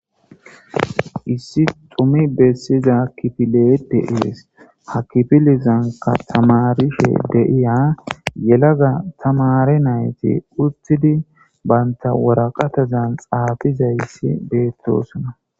Issi dhumi bessiza kifiley de'essi ha kifilezanika tamarishe de'iya yellaga tammare nati uttidi bantta waraqatazan xaafizayssi bettossona.